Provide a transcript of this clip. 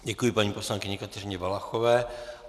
Děkuji, paní poslankyni Kateřině Valachové.